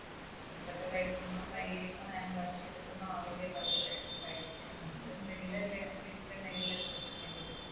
food ഒക്കെ കഴിക്കുമ്പോൾ കൈ hand wash ചെയ്തിട്ടൊന്നും ആവില്ലല്ലോ അവർ കഴിക്കുക. നമ്മൾ ഇണ്ടെങ്കിലല്ലേ വീട്ടിൽ ഇണ്ടെങ്കിലല്ലേ ശ്രദ്ധിക്കാൻ പറ്റു.